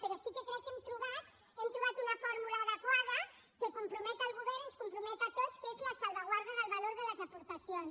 però sí que crec que hem trobat una fórmula adequada que compromet el govern ens compromet a tots que és la salvaguarda del valor de les aportacions